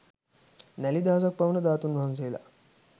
නැළි දහසක් පමණ ධාතුන් වහන්සේලා